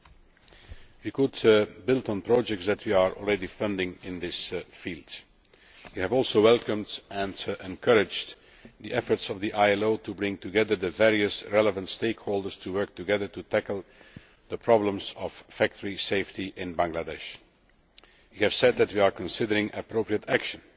We have been able to build on projects that we are already funding in this field, and we have also welcomed and encouraged the efforts of the ILO to bring together the various relevant stakeholders to work together to tackle the problems of factory safety in Bangladesh. We have said that we are considering appropriate action,